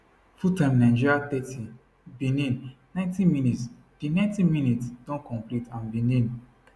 full time time nigeria thirty benin 90 mins di ninety minutes don complete and benin